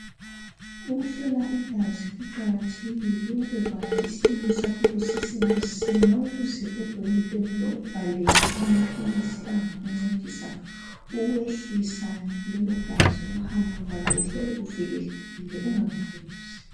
Ukuhlola igazi kuqakathekile ukubekwazi ubekwazi isimo sakho kusesemasinya ukuze odokotela bakubhalele amaphilisi angakuncedisa ukwehlisa lelogazi ukuhamba kwalo uhlale uvikelekile ungaphuzi